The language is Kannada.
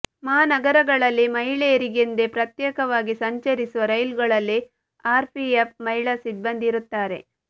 ಮಹಾನಗರಗಳಲ್ಲಿ ಮಹಿಳೆಯರಿಗೆಂದೇ ಪ್ರತ್ಯೇಕವಾಗಿ ಸಂಚರಿಸುವ ರೈಲುಗಳಲ್ಲಿ ಆರ್ಪಿಎಫ್ ಮಹಿಳಾ ಸಿಬ್ಬಂದಿ ಇರುತ್ತಾರೆ